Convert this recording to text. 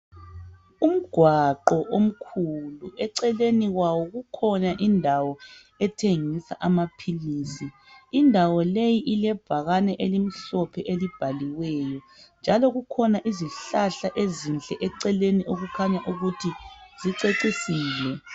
Umgwaqo omkhulu eceleni kwawo kukhona indawo ethengisa amaphilisi. Indawo leyi ilebhakane elimhlophe elibhaliweyo njalo kukhona izihlahla ezinhle eceleni okukhanya ukuthi zicecisile.